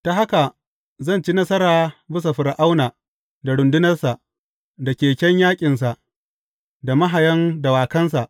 Ta haka zan ci nasara bisa Fir’auna da rundunansa, da keken yaƙinsa, da mahayan dawakansa.